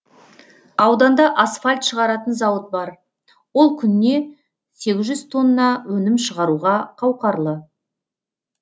ауданда асфальт шығаратын зауыт бар ол күніне сегіз жүз тонна өнім шығаруға қауқарлы